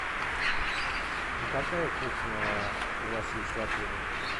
какая кухня у вас есть в отеле